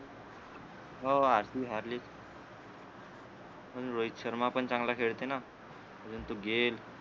हो हारली हारली रोहित शर्मा पण चांगला खेळते ना परंतु गिल